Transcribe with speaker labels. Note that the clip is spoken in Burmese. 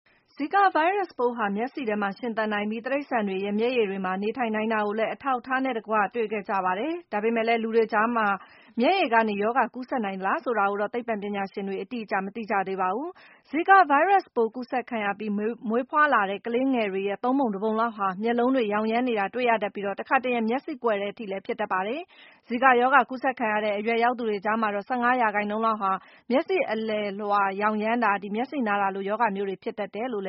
Speaker 1: ဇီကာဗိုင်းရပ်စ်ပိုးဟာ မျက်စေ့ထဲမှာ ရှင်သန်နိုင်ပြီး၊ တိရစ္ဆာန်တွေရဲ့ မျက်ရည်တွေမှာ နေထိုင်နိုင်တာကိုလည်း အထောက်အထားနဲ့တကွ တွေ့ခဲ့ကြရပါတယ်။ ဒါပေမဲ့လည်း လူတွေကြားမှာ မျက်ရည်ကနေ ရောဂါကူးစက်နိုင်သလား ဆိုတာကိုတော့ သိပ္ပံပညာရှင်တွေ အတိအကျ မသိကြသေးပါဘူး။ ဇီကာဗိုင်းရပ်စ်ပိုး ကူးစက်ခံရပြီး မွေးဖွားလာတဲ့ ကလေးငယ်တွေရဲ့ ၃ ပုံ ၁ ပုံလောက်ဟာ မျက်လုံးတွေ ယောင်ယမ်းနေတာ တွေ့ရတတ်ပြီး၊ တခါတရံမှာ မျက်စေ့ကွယ်တဲ့အထိလည်း ဖြစ်တတ်ပါတယ်။ ဇီကာရောဂါ ကူးစက်ခံရတဲ့ အရွယ်ရောက်သူတွေ ကြားမှာတော့ ၁၅ ရာခိုင်နှုန်းလောက်ဟာ မျက်စေ့အလယ်လွှာယောင်ယမ်းတာ၊ မျက်စေ့နာတာလို ရောဂါမျိုးတွေ ဖြစ်တတ်တ
Speaker 2: ယ်လို့